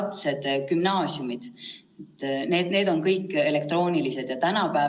Täna on kehtestatud kirjaliku inglise keele riigieksami ajaks 3. mai, selle me lükkaksime edasi 7. maile, ning suulise eksami 10.–13. maile.